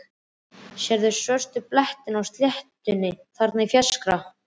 Sérðu svörtu blettina á sléttunni þarna í fjarska?